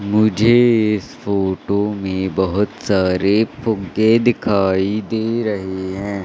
मुझे इस फोटो में बहोत सारे फुग्गे दिखाई दे रहे है।